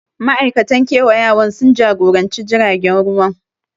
Ma'aikatan kewayawan sun jagoranci jiragen ruwan